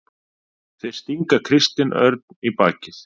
Þeir stinga Kristinn Örn í bakið